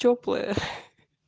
тёплое